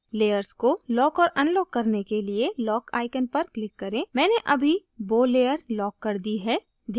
layers को lock और unlock करने के लिए lock icon पर click करें मैंने अभी bow layer lock कर दी है